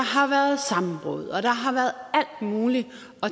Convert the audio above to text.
har været sammenbrud og der har været alt mulig